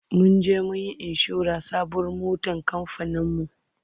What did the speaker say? Mun je mun yi inshorar sabuwar motar kamfaninmu.